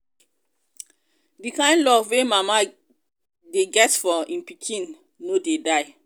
di kain love wey mama dey get for im pikin no dey die.